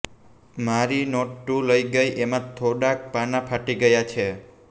મારી નોટ તુ લઈ ગઈ એમાં થોડાક પાના ફાટી ગયા છે